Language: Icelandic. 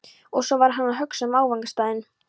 Og svo var hann að hugsa um áfangastaðinn.